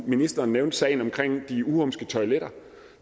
ministeren nævnte sagen omkring de uhumske toiletter